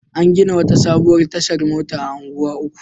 An gina wata sabuwar tashar mota a Unguwa Uku.